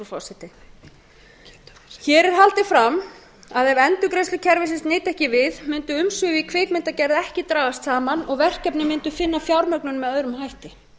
hér er haldið fram að ef endurgreiðslukerfisins nyti ekki við mundi umsvif í kvikmyndagerð ekki dragast saman og verkefnin mundu sinna fjármögnun með öðrum hætti